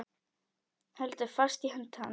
Heldur fast í hönd hans.